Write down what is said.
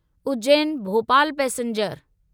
Ujjain Bhopal passenger